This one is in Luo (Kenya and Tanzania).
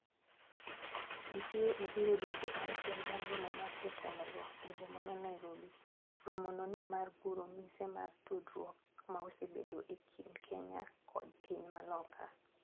DCA obiro dweche auchiel bang romo mar jotelo go e boma ma Nairobi. Romo no ne mar guro mise mar tudrwok ma osebedo e kind Kenya kod piny ma loka.